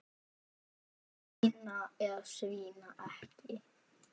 Að svína eða svína ekki.